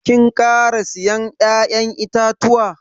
Kin kara siyan ya'yan itatuwa?